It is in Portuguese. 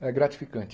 é gratificante.